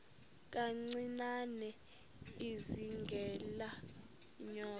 kancinane izingela iinyoka